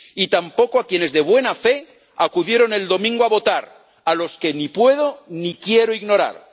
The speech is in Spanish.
Y tampoco a quienes, de buena fe, acudieron el domingo a votar, a los que ni puedo ni quiero ignorar.